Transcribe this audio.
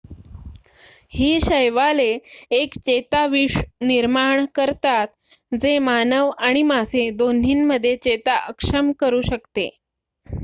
ही शैवाले एक चेताविष निर्माण करतात जे मानव आणि मासे दोन्हीमध्ये चेता अक्षम करू शकते